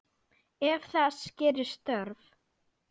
Ef þess gerist þörf